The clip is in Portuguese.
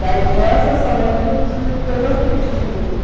Da infância, eu só lembro de coisas tristes mesmo.